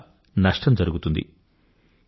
దాని వల్ల నష్టం జరుగుతుంది